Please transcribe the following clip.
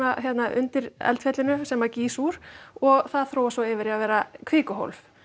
undir eldfjallinu sem gýs úr og það þróast svo yfir í að vera kvikuhólf